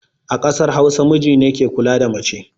A ƙasar hausa, mijine ke kula da mace